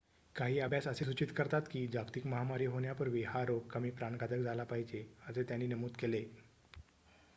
काही अभ्यास असे सूचित करतात की जागतिक महामारी होण्यापूर्वी हा रोग कमी प्राणघातक झाला पाहिजे असे त्यांनी नमूद केले